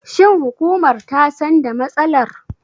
Shin hukumar ta san da matsalar?